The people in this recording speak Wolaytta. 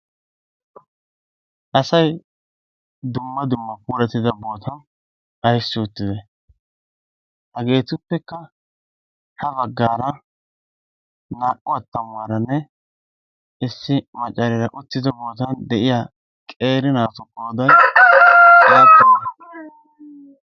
asayi dumma dumma puuratida bootan aissi uttide? hageetuppekka ha baggaara naa77u attamuwaaranne issi maccaariara uttido bootan de7iya qeeri naatu qood apune?